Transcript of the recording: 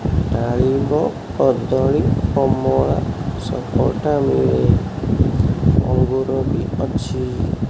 ଡାଳିମ୍ବ କଦଳୀ କମଳା ସପଟା ମିଳେ ଅଙ୍ଗୁର ବି ଅଛି।